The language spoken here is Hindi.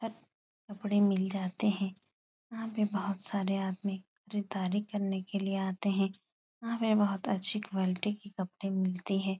सब कपड़े मिल जाते हैं। यहाँ पे बहोत सारे आदमी खरीदारी करने के लिये आते हैं। यहाँ पे बहोत अच्छी क्वॉलिटी के कपड़े मिलते हैं।